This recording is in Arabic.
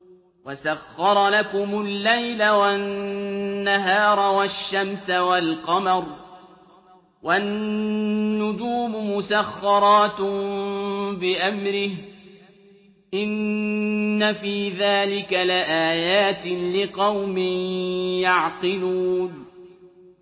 وَسَخَّرَ لَكُمُ اللَّيْلَ وَالنَّهَارَ وَالشَّمْسَ وَالْقَمَرَ ۖ وَالنُّجُومُ مُسَخَّرَاتٌ بِأَمْرِهِ ۗ إِنَّ فِي ذَٰلِكَ لَآيَاتٍ لِّقَوْمٍ يَعْقِلُونَ